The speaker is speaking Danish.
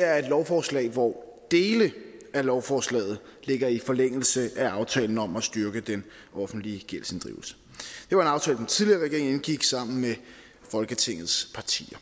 er et lovforslag hvor dele af lovforslaget ligger i forlængelse af aftalen om at styrke den offentlige gældsinddrivelse det var en aftale den tidligere regering indgik sammen med folketingets partier